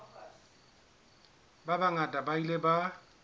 ba bangata ba ile ba